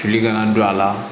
Fili kana don a la